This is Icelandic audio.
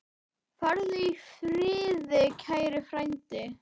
Farðu í friði, kæri frændi.